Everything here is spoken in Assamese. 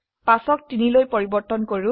5 ক 3 লৈ পৰিবৰ্তন কৰো